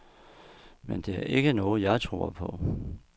Men det er ikke noget, jeg tror på.